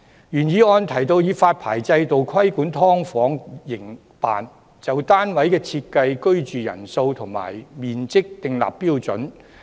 原議案提到以發牌制度規管"劏房"營辦，就單位的設施、居住人數和面積訂立標準。